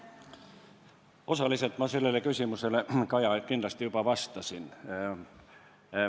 Osaliselt ma sellele küsimusele, Kaja, kindlasti juba vastasin.